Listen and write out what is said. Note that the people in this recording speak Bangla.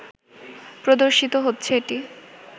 প্রদর্শিত হচ্ছে এটি